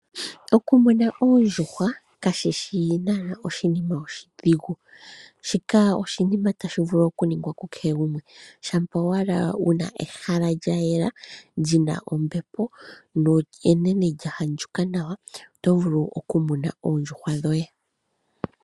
Oku muna oondjuhwa kashishi nanaa oshinima oshidhigu, shika oshinima tashi vulu ku ningwa ku kehe gumwe. Shampa owala wuna ehala lyayela lyina ombepo no ene lya andjuka nawa. Oto vulu oku muna oondjuhwa dhoye.